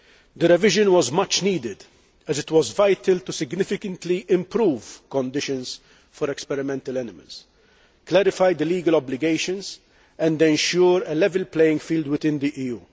The revision was much needed as it was vital to significantly improve conditions for experimental animals, clarify the legal obligations and ensure a level playing field within the EU.